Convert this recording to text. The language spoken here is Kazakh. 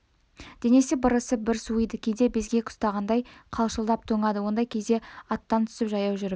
денесі бір ысып бір суыйды кейде безгек ұстағандай қалшылдап тоңады ондай кезде аттан түсіп жаяу жүріп